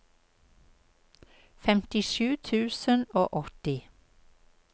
femtisju tusen og åtti